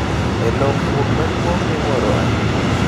E lokruok maduong’ miwuoro ahinya,